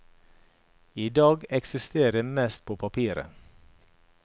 I dag eksisterer de mest på papiret.